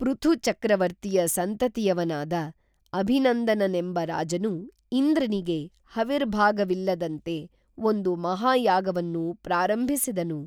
ಪೃಥುಚಕ್ರವರ್ತಿಯ ಸಂತತಿಯವನಾದ ಅಭಿನಂದನನೆಂಬ ರಾಜನು ಇಂದ್ರನಿಗೆ ಹವಿರ್ಭಾಗವಿಲ್ಲದಂತೆ ಒಂದು ಮಹಾ ಯಾಗವನ್ನು ಪ್ರಾರಂಭಿಸಿದನು